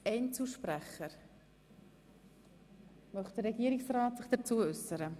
Möchte sich der Regierungsrat dazu äussern?